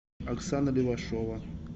оксана левашова